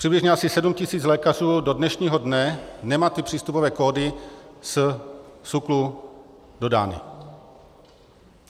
Přibližně asi 7 000 lékařů do dnešního dne nemá ty přístupové kódy ze SÚKLu dodány.